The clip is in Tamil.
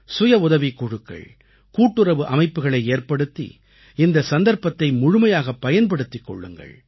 சுய உதவிக் குழுக்கள் கூட்டுறவு அமைப்புகளை ஏற்படுத்தி இந்த சந்தர்ப்பத்தை முழுமையாகப் பயன்படுத்திக் கொள்ளுங்கள்